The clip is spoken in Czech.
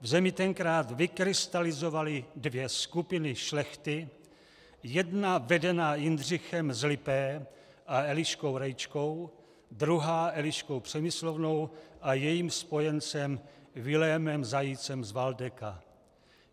V zemi tenkrát vykrystalizovaly dvě skupiny šlechty, jedna vedená Jindřichem z Lipé a Eliškou Rejčkou, druhá Eliškou Přemyslovnou a jejím spojencem Vilémem Zajícem z Valdeka.